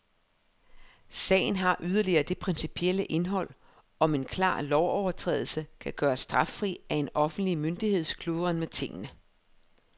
Sagen har yderligere det principielle indhold, om en klar lovovertrædelse kan gøres straffri af en offentlig myndigheds kludren med tingene.